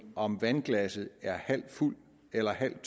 om vandglasset er halvt fuldt eller halvt